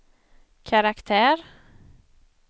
karaktär